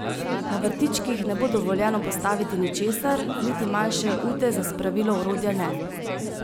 Na vrtičkih ne bo dovoljeno postaviti ničesar, niti manjše ute za spravilo orodja ne.